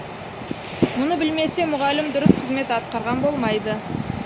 мұны білмесе мұғалім дұрыс қызмет атқарған болмайды